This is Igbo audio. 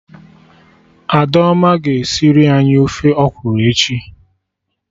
Adaoma ga-esiri anyị ofe ọkwụrụ echi